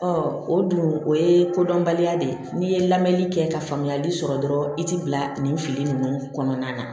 o dun o ye kodɔnbaliya de ye n'i ye lamɛnni kɛ ka faamuyali sɔrɔ dɔrɔn i ti bila nin fili nunnu kɔnɔna na